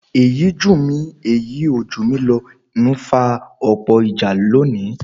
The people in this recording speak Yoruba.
Èyí jù mí èyí ò jù mí ló ń fa ọ̀pọ̀ ìjà lónìí